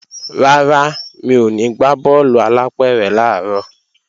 Rárá, mi ò ní gbá bọ́ọ̀lù alápẹ̀rẹ̀ làárọ̀